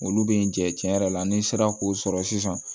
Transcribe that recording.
Olu bɛ n jɛ tiɲɛ yɛrɛ la ni n sera k'o sɔrɔ sisan